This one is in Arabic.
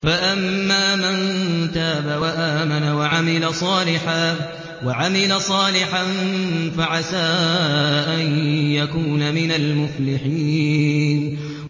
فَأَمَّا مَن تَابَ وَآمَنَ وَعَمِلَ صَالِحًا فَعَسَىٰ أَن يَكُونَ مِنَ الْمُفْلِحِينَ